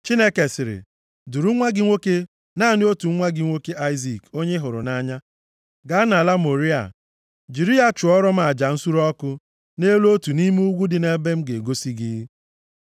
Chineke sịrị, “Duru nwa gị nwoke, naanị otu nwa gị nwoke, Aịzik onye ị hụrụ nʼanya, gaa nʼala Mọrịa. Jiri ya chụọrọ m aja nsure ọkụ nʼelu otu nʼime ugwu dị nʼebe m ga-egosi gị.”